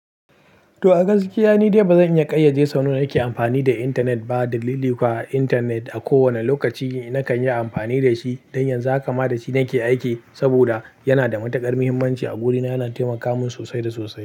To a gaskiya ni dai bazan iya ƙayyade sau nawa nake amfani da intanet ba, dalili kuwa intanet a kowane lokaci nakan yi amfani da shi. Don yanzu haka ma da shi nake aiki saboda yana da matuƙar muhimmanci a wurina yana taimakawa mun sosai da sosai.